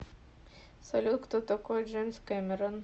салют кто такой джеймс кэмерон